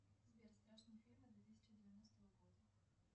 сбер страшные фильмы две тысячи двенадцатого года